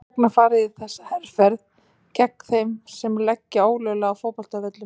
Hvers vegna var farið í þessa herferð gegn þeim sem leggja ólöglega á fótboltavöllum?